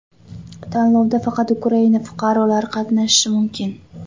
Tanlovda faqat Ukraina fuqarolari qatnashishi mumkin.